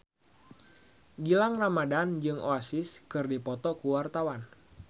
Gilang Ramadan jeung Oasis keur dipoto ku wartawan